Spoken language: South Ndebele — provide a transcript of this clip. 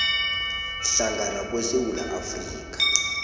hlangana kwesewula afrika